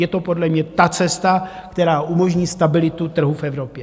Je to podle mě ta cesta, která umožní stabilitu trhu v Evropě.